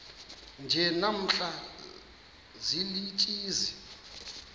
nje namhla ziintsizi